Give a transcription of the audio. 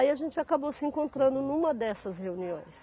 Aí a gente acabou se encontrando numa dessas reuniões.